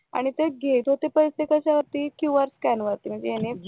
आणि ते घेतात पैसे कशावर्ती क्यूआर स्कॅन वरती